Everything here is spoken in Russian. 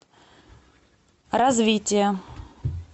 развитие